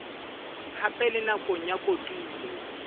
hape le nakong ya kotulo